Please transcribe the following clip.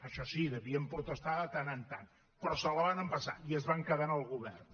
això sí devien protestar de tant en tant però se la van empassar i es van quedar al govern